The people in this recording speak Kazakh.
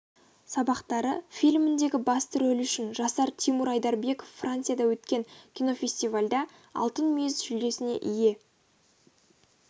сабақтары фильміндегі басты рөлі үшін жасар тимур айдарбеков францияда өткен кинофестивальде алтын мүйіз жүлдесіне ие